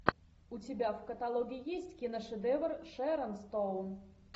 у тебя в каталоге есть киношедевр шерон стоун